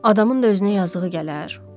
Adamın da özünə yazığı gələr?